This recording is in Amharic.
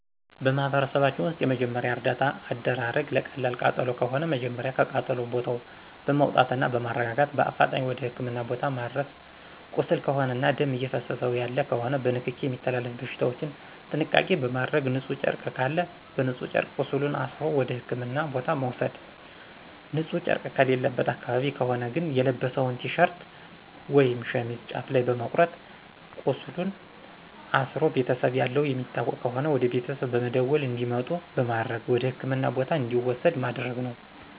በማህበረሰባችን ውስጥ የመጀመሪያ እርዳታ አደራረግ ለቀላል ቃጠሎ ከሆነ መጀመሪያ ከቃጠሎ ቦታው በማውጣትና በማረጋጋት በአፋጣኝ ወደ ህክምና ቦታ ማድረስ ቁስል ከሆነና ደም እየፈሰሰው ያለ ከሆነ በንክኪ የሚተላለፉ በሽታዎችን ጥንቃቄ በማድረግ ንጹህ ጨርቅ ካለ በንጹህ ጨርቅ ቁስሉን አስሮ ወደ ህክምና ቦታ መውሰድ ንጺህ ጨረቅ የሌለበት አካባቢ ከሆነ ግን የለበሰውን ቲሸርት ወይም ሸሚዝ ጫፍ ላይ በመቁረጥ ቃስሉን አስሮ ቤተሰብ ያለው የሚታወቅ ከሆነ ወደቤተሰብ በመደወል እንዲመጡ በማድረግ ወደህክምና ቦታ እንዲወሰድ ማድረግ ነው።